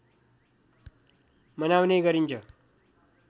मनाउने गरिन्छ